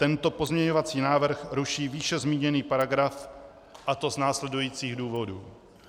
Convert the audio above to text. Tento pozměňovací návrh ruší výše zmíněný paragraf, a to z následujících důvodů.